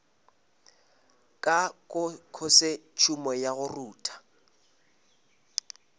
ka khosetšhumo ya go rutha